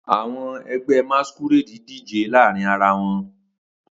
Awọn ẹgbẹ Masqurade dije laarin ara wọn